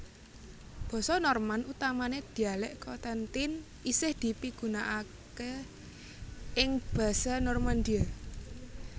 Basa Norman utamané dhialek Cotentin isih dipigunakaké ing Basse Normandie